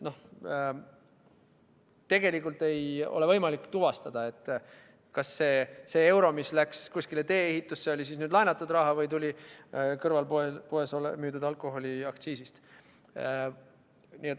Tegelikult ei ole võimalik tuvastada kas see euro, mis läks tee-ehitusse, oli laenatud raha või tuli poes müüdud alkoholi aktsiisist.